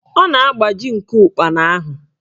Ọ na-agbaji nku ụkpana ahụ